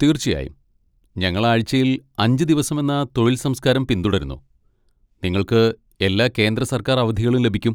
തീർച്ചയായും, ഞങ്ങൾ ആഴ്ചയിൽ അഞ്ച് ദിവസമെന്ന തൊഴിൽ സംസ്കാരം പിന്തുടരുന്നു, നിങ്ങൾക്ക് എല്ലാ കേന്ദ്ര സർക്കാർ അവധികളും ലഭിക്കും.